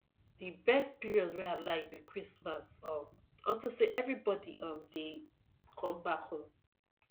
the best period wey i like be christmas um unto say everybody um dey come back home